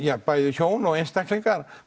hjón og eða einstaklingar